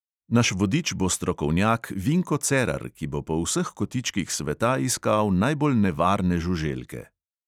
Naš vodič bo strokovnjak vinko cerar, ki bo po vseh kotičkih sveta iskal najbolj nevarne žuželke.